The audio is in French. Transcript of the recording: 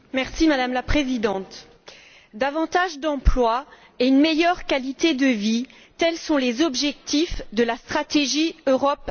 Madame la Présidente, davantage d'emplois et une meilleure qualité de vie, tels sont les objectifs de la stratégie Europe